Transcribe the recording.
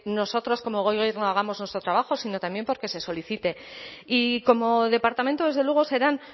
nosotros como gobierno hagamos nuestro trabajo sino también porque se solicite y como departamento desde luego serán